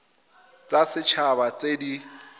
tsa set haba tse di